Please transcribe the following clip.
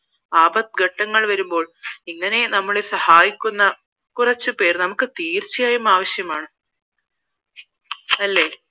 ആപത്ത് ഘട്ടങ്ങൾ വരുമ്പോൾ ഇങ്ങനെ നമ്മളെ സഹായിക്കുന്ന കുറച്ച് പേർ നമുക്ക് തീർച്ചയായും ആവശ്യമാണ് അല്ലേ